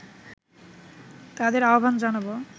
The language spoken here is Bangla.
তাদের আহবান জানাবো